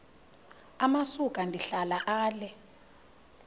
amasuka ndihlala ale